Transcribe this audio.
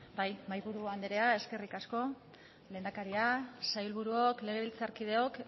mahaiburu anderea eskerrik asko lehendakari sailburuok legebiltzarkideok